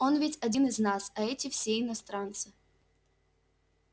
он ведь один из нас а эти все иностранцы